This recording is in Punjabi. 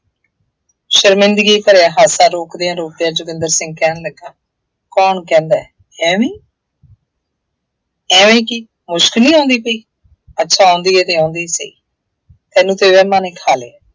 ਸ਼ਰਮਿੰਦਗੀ ਭਰਿਆ ਹਾਸਾ ਰੋਕਦਿਆਂ ਰੋਕਦਿਆਂ ਜੋਗਿੰਦਰ ਸਿੰਘ ਕਹਿਣ ਲੱਗਾ ਕੌਣ ਕਹਿੰਦਾ ਹੈ, ਐਵੇਂ ਐਵੇਂ ਕੀ, ਮੁਸ਼ਕ ਨਹੀਂ ਆਉਂਦੀ ਪਈ, ਅੱਛਾ ਆਉਂਦੀ ਹੈ ਤਾਂ ਆਉਂਦੀ ਸਈ, ਤੈਨੂੰ ਤਾਂ ਵਹਿਮਾਂ ਨੇ ਖਾ ਲਿਆ।